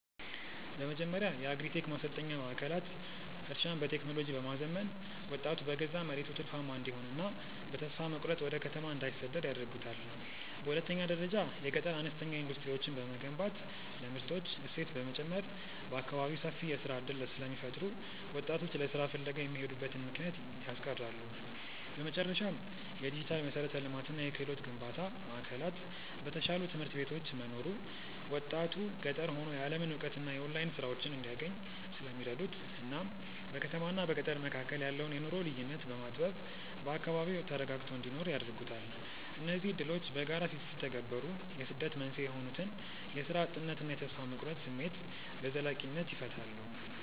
በመጀመሪያ የአግሪ-ቴክ ማሰልጠኛ ማዕከላት እርሻን በቴክኖሎጂ በማዘመን ወጣቱ በገዛ መሬቱ ትርፋማ እንዲሆንና በተስፋ መቁረጥ ወደ ከተማ እንዳይሰደድ ያደርጉታል። በሁለተኛ ደረጃ የገጠር አነስተኛ ኢንዱስትሪዎችን መገንባት ለምርቶች እሴት በመጨመር በአካባቢው ሰፊ የሥራ ዕድል ስለሚፈጥሩ ወጣቶች ለሥራ ፍለጋ የሚሄዱበትን ምክንያት ያስቀራሉ። በመጨረሻም፣ የዲጂታል መሠረተ ልማትና የክህሎት ግንባታ ማዕከላት በተሻሉ ትምህርት ቤቶች መኖሩ ወጣቱ ገጠር ሆኖ የዓለምን እውቀትና የኦንላይን ሥራዎችን እንዲያገኝ ስለሚረዱት እናም በከተማና በገጠር መካከል ያለውን የኑሮ ልዩነት በማጥበብ በአካባቢው ተረጋግቶ እንዲኖር ያደርጉታል። እነዚህ ዕድሎች በጋራ ሲተገበሩ የስደት መንስኤ የሆኑትን የሥራ እጥነትና የተስፋ መቁረጥ ስሜት በዘላቂነት ይፈታሉ።